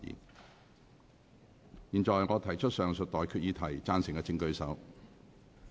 我現在向各位提出上述待決議題，付諸表決。